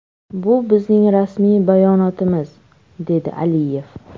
Bu bizning rasmiy bayonotimiz”, dedi Aliyev.